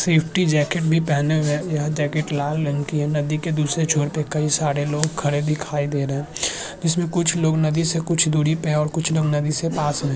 Safety jacket भी पेहने हुए हैं यह जॅकेट लाल रंग की है नदी के दुसरे छोर पर कई साडे लोग खड़े दीखाई दे रहें हैं जसमें कुछ लोग नदी से कुछ दुरी पे और कुछ लोग नदी से पास में है।